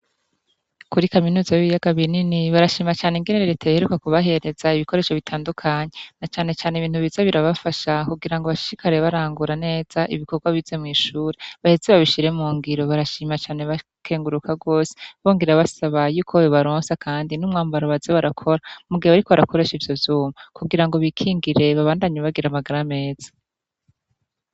Kuri kaminuza b'ibiyaga binini barashima cane ingenere riteyheruwa kubahereza ibikoresho bitandukanyi na canecane ibintu biza birabafasha kugira ngo abashikare barangura neza ibikorwa bize mw'ishure bahezi babishire mu ngiro barashimacane bakenguruka rwose bongira basaba yuko we baronsa, kandi n'umwambaro baze barakora mugihbe ari ko barakoresha ivyo m kugira ngo bikingireba bandanyubagira amagara meza.